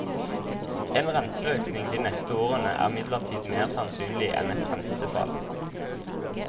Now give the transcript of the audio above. En renteøkning de neste årene er imidlertid mer sannsynlig enn et rentefall.